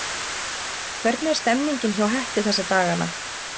Hvernig er stemningin hjá Hetti þessa dagana?